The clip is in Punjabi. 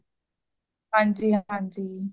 ਹਾਂਜੀ, ਹਾਂਜੀ